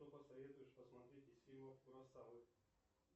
что посоветуешь посмотреть из фильмов куросавы